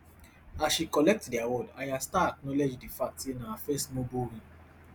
as she collect di award ayra starr acknowledge di fact say na her first mobo win